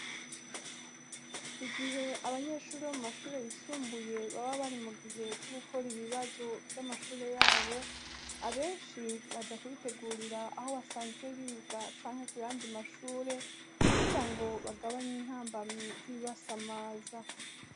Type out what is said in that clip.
Igihe abanyeshure bo mu mashure yisumbuye baba bari mu gihe c'ugukora ibibazo vy'amashure yabo, abenshi baja kubitegurira aho basanzwe biga canke ku yandi mashure kugira ngo bagabanye intambamyi z'ibibasamaza.